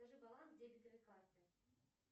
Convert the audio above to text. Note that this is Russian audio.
скажи баланс дебетовой карты